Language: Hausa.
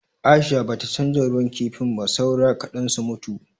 Aisha bata canza ruwan kifin ba, saura kaɗan su mutuwa.